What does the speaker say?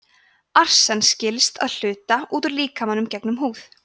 arsen skilst að hluta út úr líkamanum gegnum húð